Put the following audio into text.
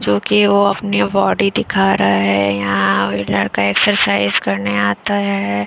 जो कि वो अपनी बॉडी दिखा रहा है यहाँ व्हीलर का एक्सरसाइज करने आता है ।